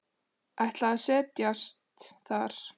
Ætlar að set jast þar.